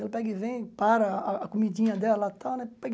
Ela pega e vem, para a a comidinha dela, tal né pega e